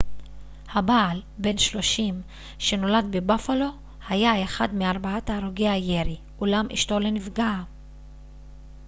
הבעל בן 30 שנולד בבאפלו היה אחד מארבעת הרוגי הירי אולם אשתו לא נפגעה